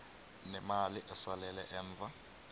nemali esalela emva